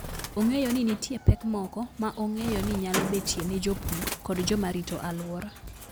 Ong'eyo ni nitie pek moko ma ong'eyo ni nyalo betie ne jopur kod joma rito alwora.